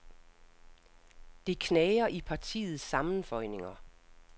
Det knager i partiets sammenføjninger.